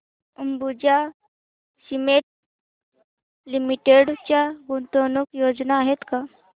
Ambuja cement limited च्या गुंतवणूक योजना आहेत का